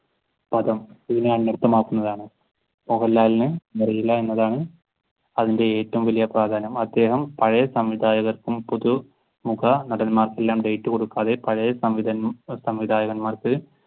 പദം ഇതിനെ അനര്ഥമാക്കുന്നതാണ്. മോഹൻലാലിന് അറിയില്ല എന്നതാണ് അതിന്റെ ഏറ്റവും വലിയ പ്രാധാന്യം. അദ്ദേഹം പഴയ സംവിധായകർക്കും പുതുമുഖ നടന്മാർക്ക് ഡേറ്റ് കൊടുക്കാതെ പഴയ സംവിധായകന്മാർക്ക്